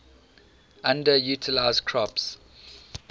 underutilized crops